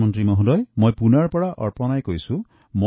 প্ৰধানমন্ত্ৰী ডাঙৰী মই পুনেৰ পৰা অপৰ্ণাই কৈছো